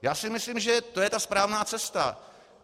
Já si myslím, že to je ta správná cesta.